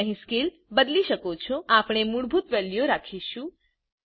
તમે અહી સ્કેલ બદલી શકો છોઆપણે મૂળભૂત વેલ્યુઓ રાખીશું